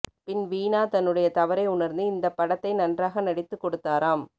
பின் வீணா தன்னுடைய தவறை உணர்ந்து இந்தப்படத்தை நன்றாக நடித்துக்கொடுதாராம்